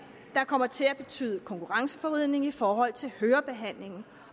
der kommer til at betyde konkurrenceforvridning i forhold til hørebehandling